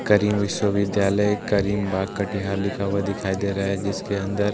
करीम विश्वविद्यालय करीम बाग कटिहार लिखा हुआ दिखाई दे रहा है जिसके अंदर --